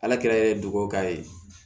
Ala kɛ duwawu k'a ye